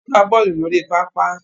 Wọ́n gbá bọ́ọ̀lù lórí pápá